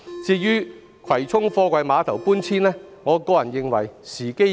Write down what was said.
至於葵涌貨櫃碼頭搬遷，我個人認為時機已過。